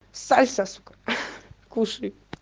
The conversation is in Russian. сальса сука кушаю